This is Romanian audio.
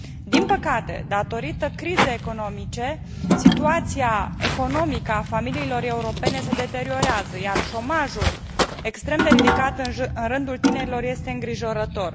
Din păcate, datorită crizei economice, situația economică a familiilor europene se deteriorează, iar șomajul, extrem de ridicat în rândul tinerilor, este îngrijorător.